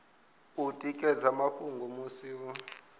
u ekedza mafhungo musi hu